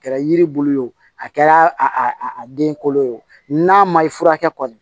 A kɛra yiri bulu ye wo a kɛra a den kolo ye o n'a ma i furakɛ kɔni